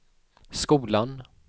skolan